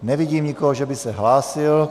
Nevidím nikoho, že by se hlásil.